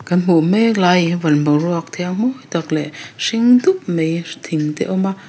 kan hmuh mek lai hi van boruak thiang mawi tak leh hring dup mai thing te awm a.